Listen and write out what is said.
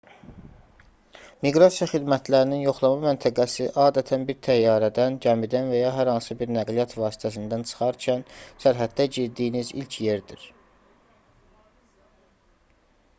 miqrasiya xidmətlərinin yoxlama məntəqəsi adətən bir təyyarədən gəmidən və ya hər hansı bir nəqliyyat vasitəsindən çıxarkən sərhəddə girdiyiniz ilk yerdir